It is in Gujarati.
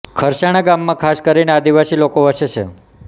ખરસાણા ગામમાં ખાસ કરીને આદિવાસી લોકો વસે છે